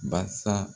Basa